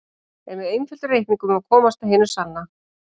En með einföldum reikningum má komast að hinu sanna.